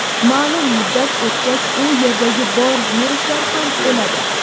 ma’lum muddat o‘tgach u yerdagi bor viruslar ham o‘ladi.